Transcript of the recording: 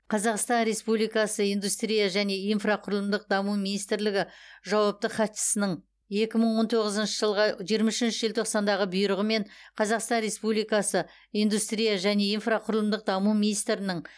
қазақстан республикасы индустрия және инфрақұрылымдық даму министрлігі жауапты хатшысының екі мың он тоғызыншы жылғы жиырма үшінші желтоқсандағы бұйрығымен қазақстан республикасы индустрия және инфрақұрылымдық даму министрінің